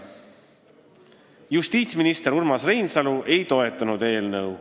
Justiitsminister Urmas Reinsalu ei toetanud eelnõu.